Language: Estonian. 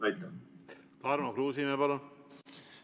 Tarmo Kruusimäe, palun!